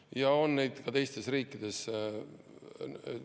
Ja on neid ka teistes riikides.